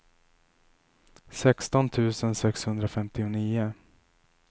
sexton tusen sexhundrafemtionio